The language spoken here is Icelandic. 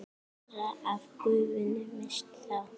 meira af gufunni missist þá.